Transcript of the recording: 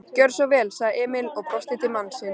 Gjörðu svo vel, sagði Emil og brosti til mannsins.